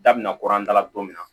Da binna kurada la don min na